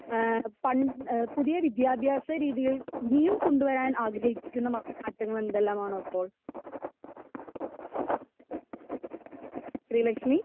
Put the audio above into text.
speaker 2 ഏഹ് പൺ എഹ് പുതിയ വിദ്യാഭ്യാസ രീതികൾ ഇനിയും കൊണ്ട് വരാൻ ആഗ്രഹിക്കണ മാറ്റങ്ങൾ എന്തല്ലാമാണ് അപ്പൊ ശ്രീലക്ഷ്മി